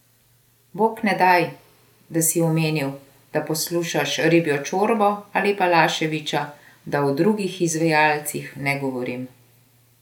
Bog ne daj, da si omenil, da poslušaš Ribjo čorbo ali Balaševića, da o drugih izvajalcih ne govorim.